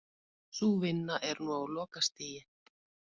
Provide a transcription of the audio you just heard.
Sú vinna er nú á lokastigi